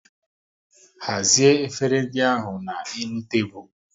Hazie efere ndị ahụ na n'elu tebụl